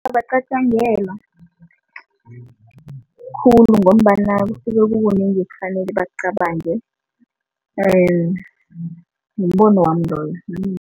Abacatjangelwa khulu ngombana kusuke kukunengi ekufanele bakucabange mbono wami loyo